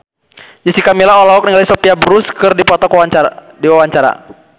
Jessica Milla olohok ningali Sophia Bush keur diwawancara